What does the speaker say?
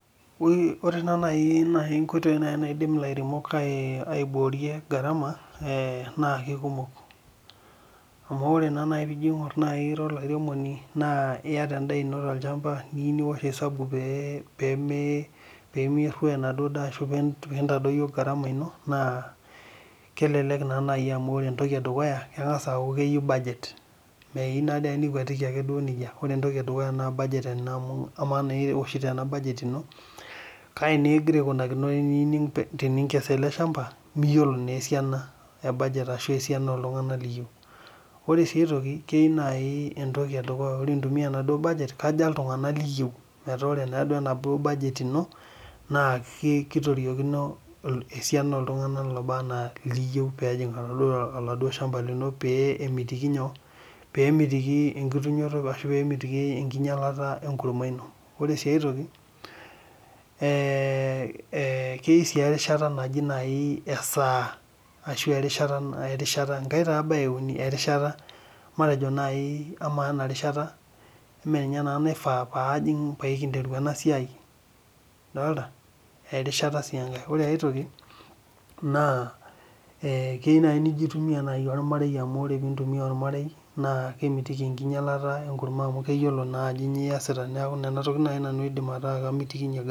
Ore naaji nkoitoi naidim ilairemok aiboorie garama, naa keikumok, Amu ore naa pee ijo aingor naaji ira olairemoni, iyata enda tolchampa niyieu niwosh isabu pee merwoyo enaduo daa ashu mee mintadoyio garama ino ,naa kelelek naa naji amu ore entoki edukuya kengas aaku keyieu budget. Meyieu naa ake nikwetiki ake duo nejia ,keyieu naa ore entoki edukuya naa budget ama naa iwoshito ena budget ino kaji naa igira aikunakino teninkes ele shampa ,miyiolo naa esiai ashu budget oltunganak liyieu. Ore siia ai toki enkoi edukuya intumiya enaduo budget kaja iltunganak liyieu metaa naa ore enaduo budget ino, naa kitoriopkino esiana oltunganak looba enaa liyieu pee ejing oladuo shampa lino pee emitiki enkitunyoto ashu enkinyalata enkurma ino. Ore sii ai toki, keyieu naaji erishata ,matejo naaji amaa enarishata, meninye naa naifaa pee ajing pee kinteru ena siai ,Dolita, erishata sii enkae. Ore sii aitoki, naa keyieu naaji nijo aitumiyia ormarei amu ore pee intumiya ormarei naa kemitiki enkinyalata enkurma amu keyiolo naa ajo kainyo aiyasita, Neeku nena tokiting naaji nanu aidim ataa amitikinyie garama.